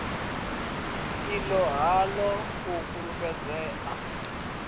i ṱo ḓaho u fulufhedzea